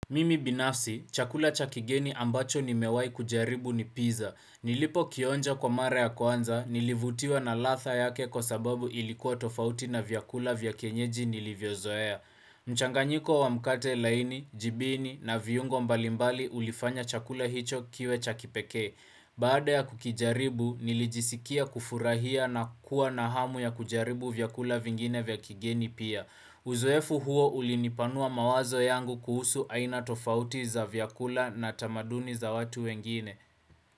Mimi binafsi, chakula chakigeni ambacho nimewai kujaribu ni pizza. Nilipokionja kwa mara ya kwanza, nilivutiwa na radha yake kwa sababu ilikuwa tofauti na vyakula vya kienyeji nilivyozoea. Mchanganyiko wa mkate laini, jibini na viungo mbalimbali ulifanya chakula hicho kiwe cha kipeke. Baada ya kukijaribu, nilijisikia kufurahia na kuwa na hamu ya kujaribu vyakula vingine vya kigeni pia. Uzoefu huo ulinipanua mawazo yangu kuhusu aina tofauti za vyakula na tamaduni za watu wengine.